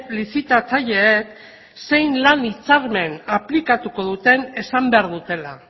lizitatzaileek zein lan hitzarmen aplikatuko duten esan behar dutela